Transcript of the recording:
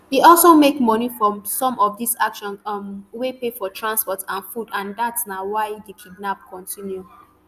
e also make moni from some of dis actions um wey pay for transport and food and dat na why di kidnap continue